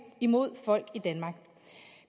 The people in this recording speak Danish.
imod folk i danmark